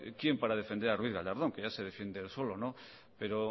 quién para defender a ruiz gallardón que ya se defiende él solo no pero